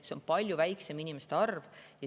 See on palju väiksem inimeste arv.